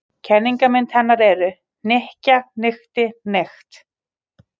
Kennimyndir hennar eru: hnykkja- hnykkti- hnykkt.